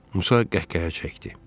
Musa qəhqəhə çəkdi.